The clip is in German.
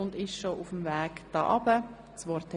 Sie haben das Wort.